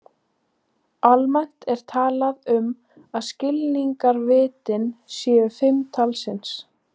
Almennt er talað um að skilningarvitin séu fimm talsins.